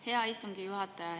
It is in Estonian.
Hea istungi juhataja!